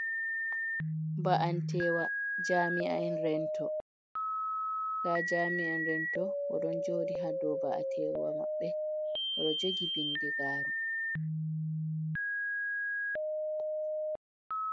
Ba’antewa jaami’an rento nda jami'a rento oɗon jodi ha dow ba’an tewa maɓɓe, oɗo jogi bindigaru.